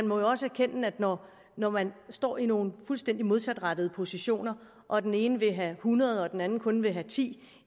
må også erkende at når man står i nogle fuldstændig modsatrettede positioner og den ene vil have hundrede og den anden kun vil have ti